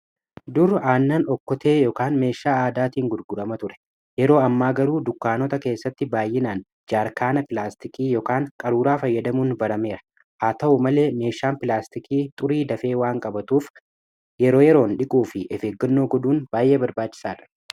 dur aannan okkotee ykn meeshaa aadaatiin gurgurama ture yeroo ammaa garuu dukkaanota keessatti baay'inaan jaarkaana pilaastikii qaruuraa fayyadamuun barameera haa ta'u malee meeshaan pilaastikii xurii dafee waan qabatuuf yeroo yeroon dhiquu fi of eeggannoo godhuun baay'ee barbaachisaa dha.